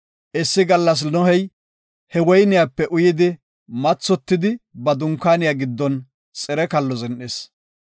Issi gallas Nohey he woyniyape uyidi mathotidi ba dunkaaniya giddon xire kallo zin7is.